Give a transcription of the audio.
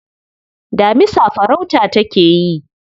Damisa farauta take yi.